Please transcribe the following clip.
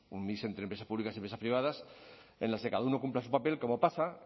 un mix entre empresas públicas y empresas privadas en los que cada uno cumpla su papel como pasa